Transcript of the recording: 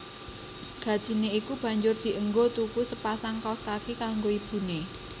Gajine iku banjur dienggo tuku sepasang kaos kaki kanggo ibune